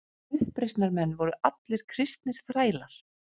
Uppreisnarmenn voru allir kristnir þrælar.